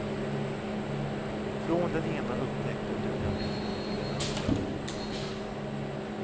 Från den ena upptäckten drog han vidare till den andra. punkt